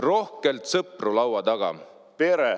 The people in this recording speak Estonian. … rohkelt sõpru laua taga!